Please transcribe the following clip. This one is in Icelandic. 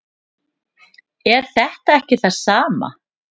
er þetta ekki það sama